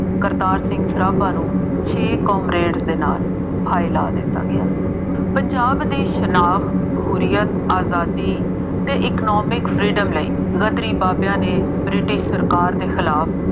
ਕਰਤਾਰ ਸਿੰਘ ਸਰਾਭਾ ਨੂੰ ਛੇ ਕਾਮਰੇਡਜ਼ ਦੇ ਨਾਲ ਫਾਹੇ ਲਾ ਦਿੱਤਾ ਗਿਆ। ਪੰਜਾਬ ਦੀ ਸ਼ਨਾਖਤ, ਹੁਰੀਅਤ, ਆਜ਼ਾਦੀ ਅਤੇ economic freedom ਲਈ ਗਦਰੀ ਬਾਬਿਆਂ ਨੇ ਬ੍ਰਿਟਿਸ਼ ਸਰਕਾਰ ਦੇ ਖਿਲਾਫ